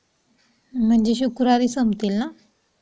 म्हणजे शुक्रवारी संपतील ना?